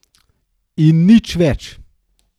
In nič več.